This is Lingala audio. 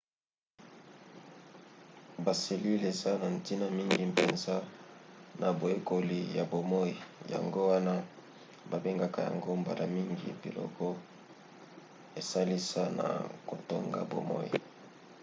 baselile eza na ntina mingi mpenza na boyekoli ya bomoi yango wana babengaka yango mbala mingi biloko esalisa na kotonga bomoi